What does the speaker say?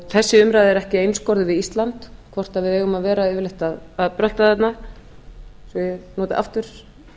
þessi umræða er ekki einskorðuð við ísland hvort við eigum að vera yfirleitt að vera að brölta þarna svo ég noti aftur